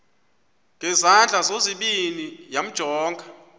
ngezandla zozibini yamjonga